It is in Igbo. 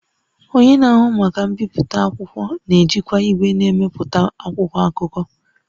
Onye na-ahụ maka mbipụta akwụkwọ na-ejikwa igwe na-emepụta akwụkwọ akụkọ